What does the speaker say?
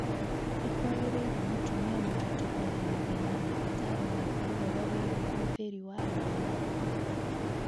nĩ kwagĩrĩire mũtumia mũritũ kwaranĩria na ndagĩtarĩ wake ũhoro wĩgiĩ ũhũthĩri wa ndawa